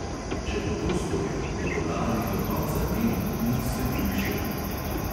Če bo to storil, bodo lari do konca njenih dni sledili šepeti.